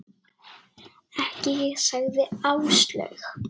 Ekki ég sagði Áslaug.